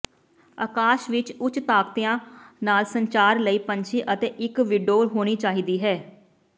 ਅਕਾਸ਼ ਵਿਚ ਉੱਚ ਤਾਕਤੀਆਂ ਨਾਲ ਸੰਚਾਰ ਲਈ ਪੰਛੀ ਅਤੇ ਇਕ ਵਿੰਡੋ ਹੋਣੀ ਚਾਹੀਦੀ ਹੈ